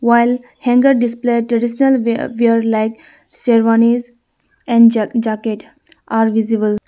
while hanger display traditional wea wear like sherwanis and ja-jacket are visible.